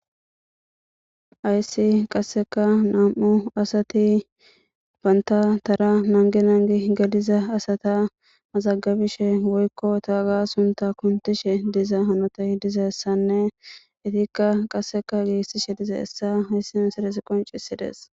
Ayssi qasseka nam7u asati baynta tara nange nangi galiza asata mazagabishe woykko ta ga sunta kuntishe diza hanotay diza essanne itikka qasseka giissishe diza essa hayssi misades qoncisides